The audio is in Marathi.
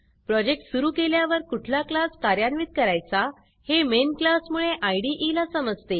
प्रोजेक्ट सुरू केल्यावर कुठला क्लास कार्यान्वित करायचा हे मेन क्लास मुळे इदे ला समजते